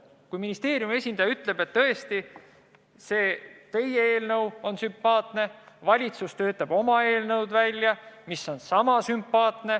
Kui ministeeriumi esindaja ütleb, et teie eelnõu on sümpaatne, aga valitsus töötab oma eelnõu välja, mis on sama sümpaatne.